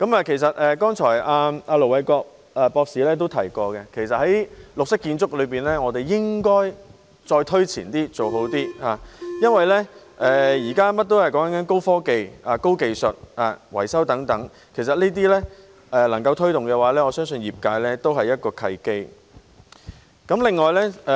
其實，盧偉國博士剛才也提到，在綠色建築方面，我們應該推前一點，做好一點，因為現時甚麼也講求高科技、高技術，包括維修方面；如果能夠推動這些，我相信對業界來說也是一個契機。